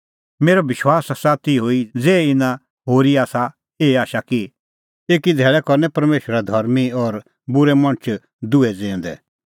मेरअ विश्वास आसा तिहअ ई ज़ेही इना होरी आसा एही आशा कि एकी धैल़ै करनै परमेशरा धर्मीं और बूरै मणछ दुहै ज़िऊंदै